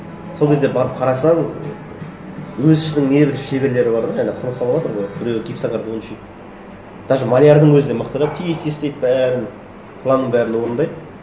сол кезде барып қарасаң өз ісінің не бір шеберлері бар да жаңағы құрылыс салыватыр ғой біреуі гипсокартонщик даже малярдің өзі мықты да тез тез істейді бәрін планның бәрін орындайды